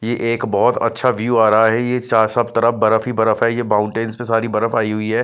ये एक बहुत अच्छा व्यू आ रहा है ये सब तरफ बर्फ ही बर्फ है ये माउंटेन्स पे सारी बर्फ आई हुई है।